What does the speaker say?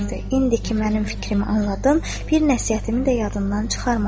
İndi ki mənim fikrimi anladın, bir nəsihətimi də yadından çıxarma.